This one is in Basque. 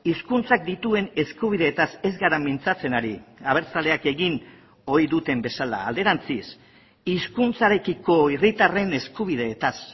hizkuntzak dituen eskubideetaz ez gara mintzatzen ari abertzaleak egin ohi duten bezala alderantziz hizkuntzarekiko herritarren eskubideetaz